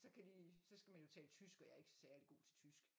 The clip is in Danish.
Så kan de så skal man jo tale tysk og jeg er ikke særlig god til tysk